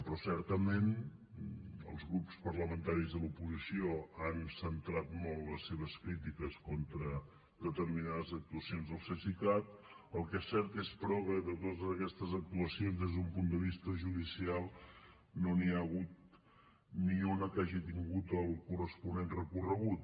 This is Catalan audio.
però certament els grups parlamentaris de l’oposició han centrat molt les seves crítiques contra determinades actuacions del cesicat el que és cert és però que de totes aquestes actuacions des d’un punt de vista judicial no n’hi ha hagut ni una que hagi tingut el corresponent recorregut